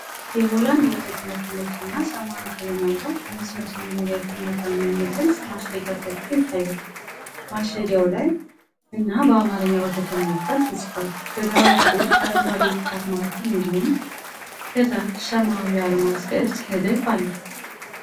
የሆላንድ ወተት ምርት ነጭና ሰማያዊ ቀለም ያለው 500 ሚሊ ሊትር መጠኑን የሚገልጽ ማሸጊያ ጎልቶ ይታያል። ማሸጊያው ላይ 'Holland milk' እና በአማርኛ 'ወተት' የሚል ቃል ተጽፏል። በግራ በኩል አረንጓዴ የጥራት ማህተም እንዲሁም ከታች ሰማያዊ የአልማዝ ቅርጽ ንድፍ አለ።